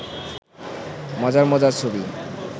মজার মজার ছবি